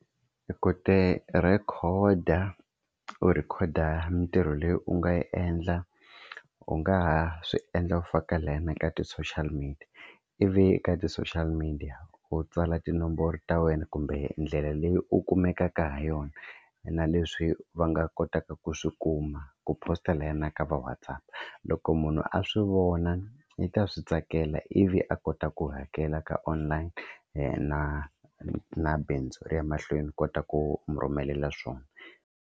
Ku tirheyikhoda u rhekhoda mintirho leyi u nga yi endla u nga ha swi endla u faka layeni ka ti-social media ivi eka ti-social media u tsala tinomboro ta wena kumbe ndlela leyi u kumekaka ha yona, na leswi va nga kotaka ku swi kuma u posta na ka va WhatsApp. Loko munhu a swi vona i ta swi tsakela ivi a kota ku hakela ka online na na bindzu ri ya mahlweni u kota ku mi rhumelela swona.